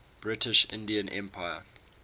british indian empire